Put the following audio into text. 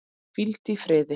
Hvíldu í friði.